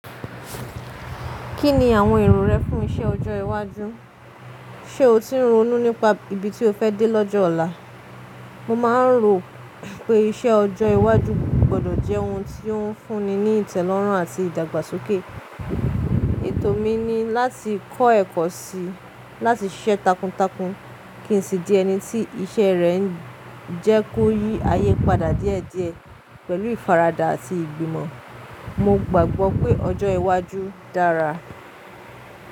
Kí ni àwọn èrò rẹ fún iṣẹ́ ọjọ́ iwájú? Ṣé o ti ń ronú nípa ibi tí o fẹ́ dé lọ́jọ́ ọ̀la? Mo máa ń rò pé iṣẹ́ ọjọ́ iwájú gbọ́dọ̀ jẹ́ ohun tí ó ń fúnni ní ìtẹ́lọ́rùn àti ìdàgbàsókè. Ètò mi ni láti kọ́ ẹ̀kọ́ sí i, láti ṣiṣẹ́ takuntakun kí n sì di ẹni tí iṣẹ́ rẹ̀ ń jẹ́ kó yí ayé padà díẹ̀díẹ̀ pẹ̀lú ìfaradà àti ìgbìmọ̀. Mo gbàgbọ́ pé ọjọ́ iwájú dára.